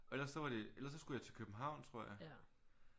Og ellers så var det ellers så skulle jeg til københavn tror jeg